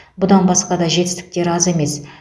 бұдан басқа да жетістіктері аз емес